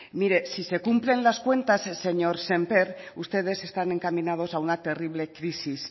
mire si se cumplen las cuentas señor sémper ustedes están encaminados a una terrible crisis